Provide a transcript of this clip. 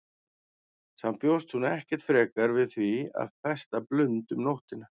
Samt bjóst hún ekkert frekar við því að festa blund um nóttina.